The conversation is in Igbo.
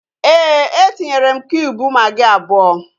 Éè, etinyere m kiub magị abụọ